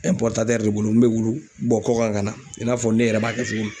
de bolo min bɛ wulu bɔ kɔkan ka na i n'a fɔ ne yɛrɛ b'a kɛ cogo min